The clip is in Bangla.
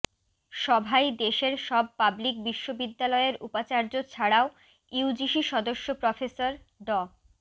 সভায় দেশের সব পাবলিক বিশ্ববিদ্যালয়ের উপাচার্য ছাড়াও ইউজিসি সদস্য প্রফেসর ড